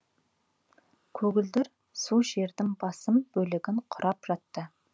көгілдір су жердің басым бөлігін кұрап жатты